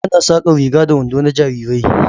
Ana saƙar riga da wando na jarirai